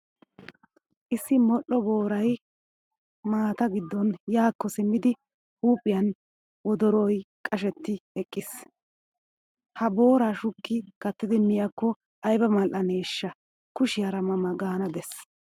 Issi modhdho booray maata giddon yaakko simmidi huuphiyan wodoroy qashetti eqqiis. Ha booraa shukki kattidi miyaakko ayba maldhdhaneeshsha kushiyaara ma ma gaana Des.